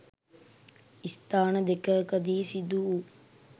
ස්ථාන දෙකකදී සිදු වූ